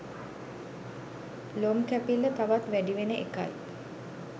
ලොම් කැපිල්ල තවත් වැඩි වෙන එකයි.